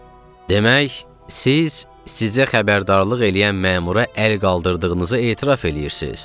Demək, siz sizə xəbərdarlıq eləyən məmura əl qaldırdığınızı etiraf eləyirsiz.